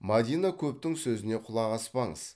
мадина көптің сөзіне құлақ аспаңыз